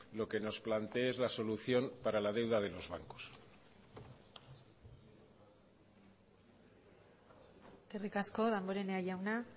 lo que nos plantee es la solución para la deuda de los bancos eskerrik asko damborenea jauna